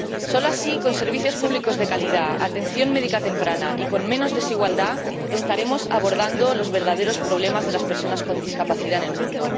Solo así, con servicios públicos de calidad, atención médica temprana y con menos desigualdad, estaremos abordando los verdaderos problemas de las personas con discapacidad en el mundo.